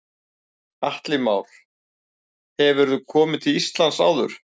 Atli Már: Hefurðu komið til Íslands áður?